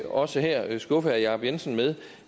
også her skuffe herre jacob jensen med